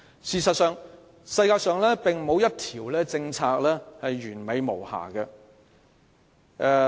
事實上，世上並沒有一項政策是完美無瑕的。